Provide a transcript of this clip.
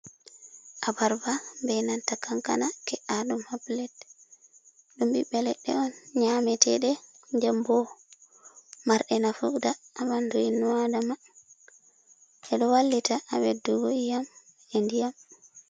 Abarba be natta kankana ke’a ɗum haplet, ɗum bibbe ledde on nyameteɗe dembo marɗe nafu, da habandu innu adama e ɗo wallita ha ɓeddugo e yam a ndiyam.